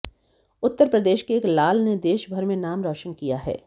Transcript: उत्तर प्रदेश के एक लाल ने देश भर में नाम रौशन किया है